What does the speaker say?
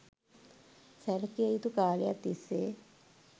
සැලකිය යුතු කාලයක් තිස්සේ